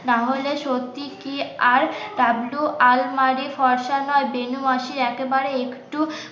নাহলে সত্যি কি আর ডাবলু আলমারি ফরসা না বেনু মাসি একেবারে একটু